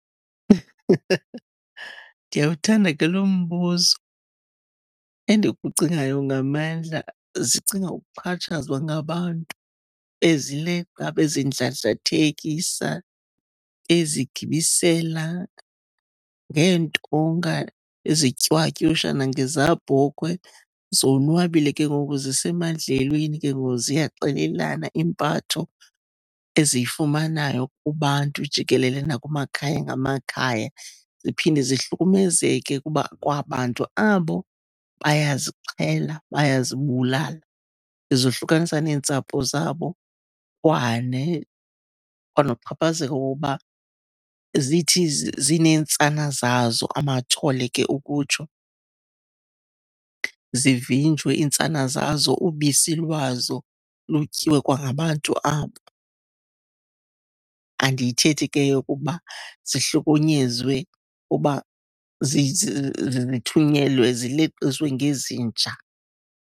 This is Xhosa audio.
Ndiyawuthanda ke lo mbuzo. Endikucingayo ngamandla. Zicinga ukuxhatshazwa ngabantu bezileqa, bezindlandlathekisa, bezigibisela ngeentonga, bezitywatyusha nangezabhokhwe. Zonwabile ke ngoku, zisemadlelweni ke ngoku, ziyaxelelana impatho eziyifumanayo kubantu jikelele, nakumakhaya ngamakhaya. Ziphinde zihlukumezeke kuba kwabantu abo bayazixhela, bayazibulala, zohlukanisa neentsapho zabo. Kwanoxhaphazeko koba zithi zineentsana zazo, amathole ke ukutsho, zivinjwe iintsana zazo ubisi lwazo, lutyiwe kwangabantu abo. Andiyithethi ke eyento yokokuba zihlukunyezwe ukuba zithunyelwe, zileqiswe ngezinja.